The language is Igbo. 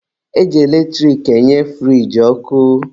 E ji eletrik enye furiji ọkụ.